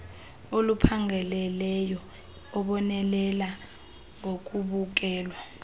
oluphangaleleyo ebonelela ngokubukelwa